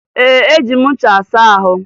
Ee, eji m ncha asa ahụ